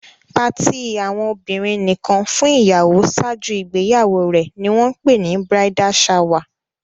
Party àwọn obìrin nìkan fún ìyàwó ṣáájú ìgbéyàwó rè ní wón pè ni "bridal shower"